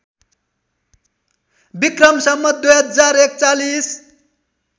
Bikram Sambat २०४१